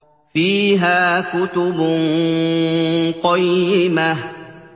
فِيهَا كُتُبٌ قَيِّمَةٌ